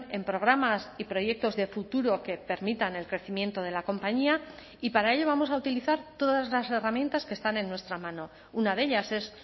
en programas y proyectos de futuro que permitan el crecimiento de la compañía y para ello vamos a utilizar todas las herramientas que están en nuestra mano una de ellas es